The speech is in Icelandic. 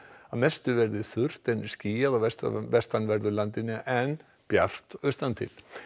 að mestu verði þurrt en skýjað á vestanverðu vestanverðu landinu en bjart austantil